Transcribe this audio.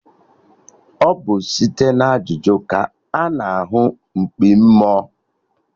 Ọ bụ site na ajụjụ ka a na ahụ mkpi mmụọ